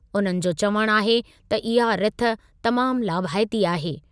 उन्हनि जो चवण आहे त इहा रिथ तमामु लाभाइती आहे।